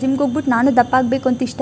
gym ಗೆ ಹೋಗ್ಬಿಟ್ಟು ನಾನು ದಪ್ಪ ಆಗ್ಬೇಕು ಅಂತ ಇಷ್ಟ --